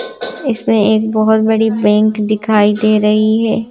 इसमें एक बहुत बड़ी बैंक दिखाई दे रही है।